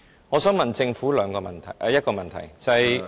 我想問政府一個問題。